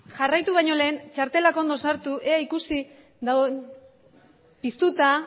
jarraitu baino lehen txartelak ondo sartu ikusi ea piztuta